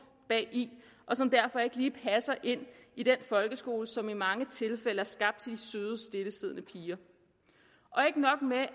bagi og som derfor ikke lige passer ind i den folkeskole som i mange tilfælde er skabt til søde stillesiddende piger ikke nok med